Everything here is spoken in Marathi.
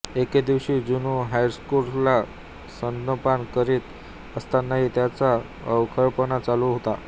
एके दिवशी जुनो हर्क्युलसला स्तनपान करीत असतानाही त्याचा अवखळपणा चालू होता